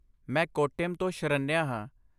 ਮੈਂ ਕੋਟਾਯਮ ਤੋਂ ਸ਼ਰਨਿਆ ਹਾਂ।